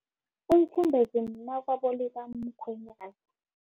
Umfumbezi mnakwabo likamkhwenyani.